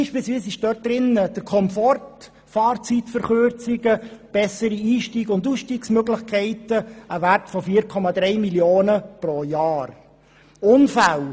So sind beispielsweise der Komfort, Fahrzeitverkürzungen, bessere Einstiegs- und Ausstiegsmöglichkeiten und ein Wert von 4,3 Mio. Franken pro Jahr enthalten.